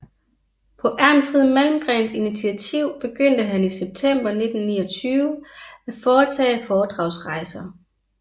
På Ernfrid Malmgrens initiativ begyndte han i september 1929 at foretage foredragsrejser